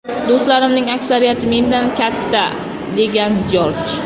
Do‘stlarimning aksariyati mendan katta”, degan Jorj.